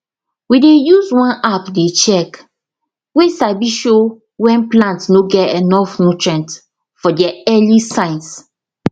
we dey use one app dey check way sabi show when plant no get enough nutrients for there early signs